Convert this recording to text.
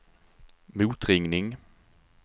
motringning